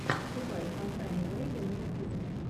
врубай фантайм бэйби на ютюбе